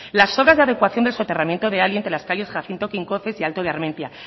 las obras de adecuación del soterramiento de entre las calles jacinto quincoces y alto de armentia